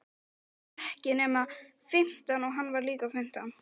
Ég var ekki nema fimmtán og hann var líka fimmtán.